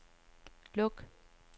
luk